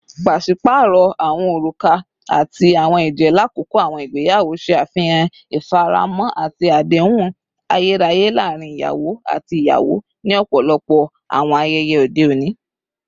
Paṣipaarọ awọn oruka ati awọn ẹjẹ lakoko awọn igbeyawo ṣe afihan ifaramo ati adehun ayeraye laarin iyawo ati iyawo ni ọpọlọpọ awọn ayẹyẹ ode oni.